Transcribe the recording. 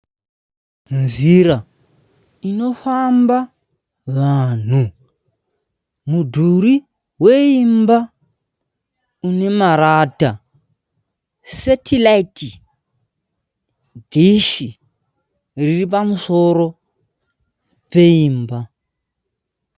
Nzira inofamba vanhu. Mudhuri weimba unemarata. Setiraiti dhishi riripamusoro peimba.